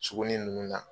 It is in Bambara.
Sugunin ninnu na